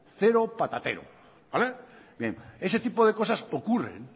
cero patatero ese tipo de cosas ocurren